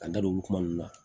Ka n da don olu kuma ninnu na